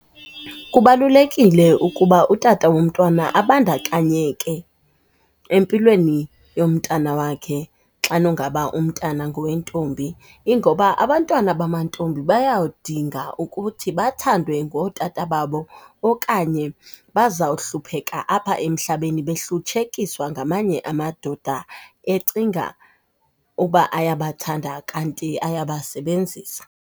Kubalulekile ukuba utata womntwana abandakanyeke empilweni yomntana wakhe xa nongaba umntana ngowentombi. Ingoba abantwana bamantombi bayadinga ukuthi bathandwe ngotata babo okanye bazawuhlupheka apha emhlabeni behlutshekiswa ngamanye amadoda ecinga uba ayabathanda kanti ayabasebenzisa.